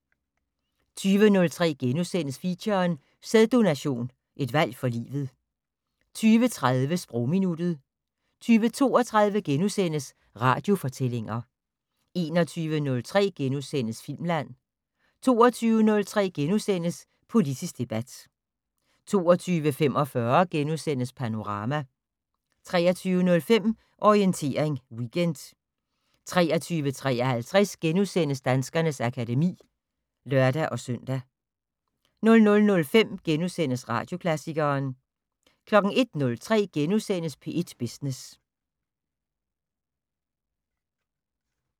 20:03: Feature: Sæddononation, et valg for livet * 20:30: Sprogminuttet 20:32: Radiofortællinger * 21:03: Filmland * 22:03: Politisk debat * 22:45: Panorama * 23:05: Orientering Weekend 23:53: Danskernes akademi *(lør-søn) 00:05: Radioklassikeren * 01:03: P1 Business *